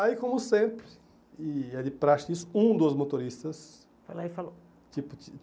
Aí, como sempre, e é de prática isso, um dos motoristas... Foi lá e falou.